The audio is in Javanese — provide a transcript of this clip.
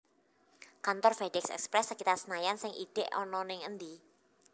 Kantor FedEx Express sekitar Senayan sing idhek ana ning endi?